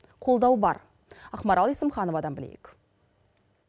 қолдау бар ақмарал есімхановадан білейік